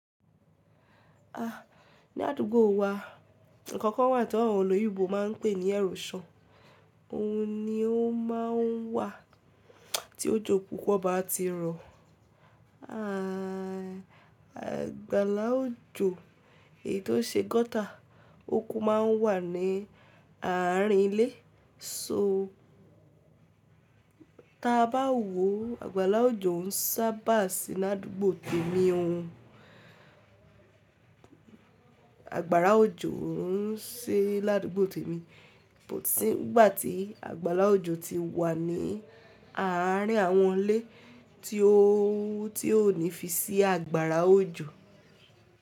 Ah, ní àdúgbò wa, nǹkan kan wà tí àwọn olóyìnbó ma ń pè ní erosion. Òhun ni ó máa ń wà tí òjò púpọ̀ bá ti rọ̀. A, àgbàlá òjò, èyí tó ṣe gọ́tà, oko ma ń wà ní àárín ilé. So, tí a bá wò ó, àgbàlá òjò ń sábà sí l'àdúgbò tèmi. Àgbàrá òjò o ṣi l'àdúgbò tèmi, ṣùgbọ́n tí àgbàlá òjò ti wà ní àárín àwọn ilé tí ó, tí ó ní fi sí àgbàrá òjò.